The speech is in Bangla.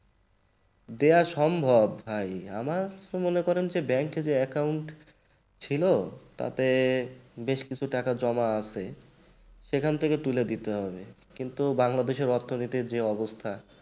দেওয়া সম্ভব ভাই আমার তো মনে করেন যে bank এই যে account ছিল তাতেই বেশ কিছু টাকা জমা আছে সেখান থেকে তুলে দিতে হবে কিন্তু বাংলাদেশের অর্থনীতির যে অবস্থা